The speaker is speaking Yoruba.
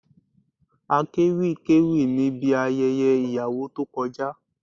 Akéwì kéwì níbi ayẹyẹ ìyàwó tó kọjá